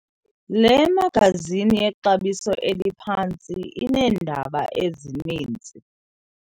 Le magazini yexabiso eliphantsi ineendaba ezininzi.